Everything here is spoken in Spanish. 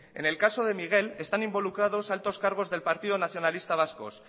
en el caso de miguel están involucrados altos cargos del partido nacionalista vasco